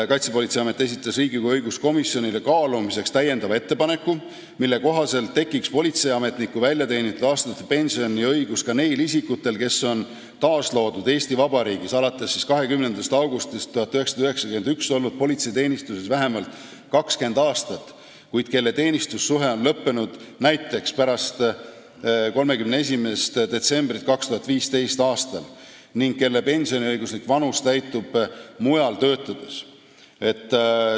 Kaitsepolitseiamet esitas Riigikogu õiguskomisjonile kaalumiseks täiendava ettepaneku, mille kohaselt tekiks politseiametniku väljateenitud aastate pensioni õigus ka neil isikutel, kes olid taasloodud Eesti Vabariigis, alates siis 20. augustist 1991, politseiteenistuses vähemalt 20 aastat, kuid kelle teenistussuhe lõppes näiteks pärast 31. detsembrit 2015 ning kelle pensioniõiguslik vanus täitub mujal töötamise ajal.